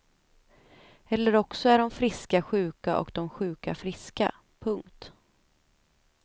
Eller också är de friska sjuka och de sjuka friska. punkt